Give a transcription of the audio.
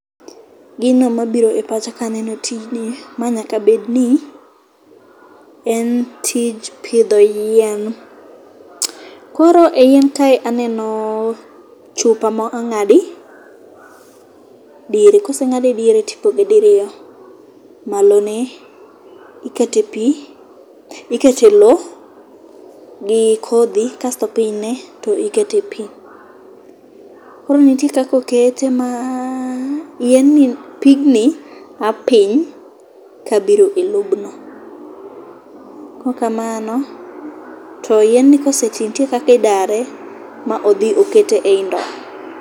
Gino mabiro e pacha kaneno tijni, ma nyaka bedni en tij pidho yien. Koro e yien kae aneno chupa ma ong'adi diere, koseng'ade diere tipoge diriyo, malone ikete pi ikete lo gi kodhi kasto pinyne to ikete pi. Koro nitie kaka okete ma pigni a piny kabiro e lobno kokamano to yien koseti ntie kakidare ma odhi okete e i ndo.